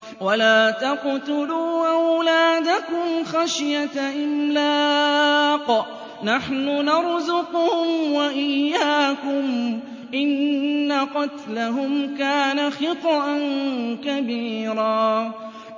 وَلَا تَقْتُلُوا أَوْلَادَكُمْ خَشْيَةَ إِمْلَاقٍ ۖ نَّحْنُ نَرْزُقُهُمْ وَإِيَّاكُمْ ۚ إِنَّ قَتْلَهُمْ كَانَ خِطْئًا كَبِيرًا